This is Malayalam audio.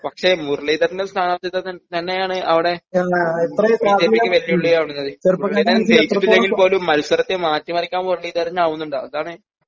പക്ഷെ മുരളീധരൻ്റെ സ്ഥാനാർത്ഥിത്വം തന്നെയാണ് അവിടെ ബിജെപിക്ക് വെല്ലുവിളിയാകുന്നത് മുരളീധരൻ ജയിച്ചിട്ടില്ലെങ്കിൽ പോലും മത്സരത്തെ മാറ്റിമറിക്കാൻ മുരളീധരനാവുന്നുണ്ട് അതാണ്